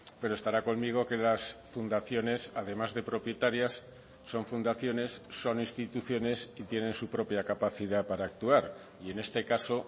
pero estará conmigo que las fundaciones además de propietarias son fundaciones son instituciones y tienen su propia capacidad para actuar y en este caso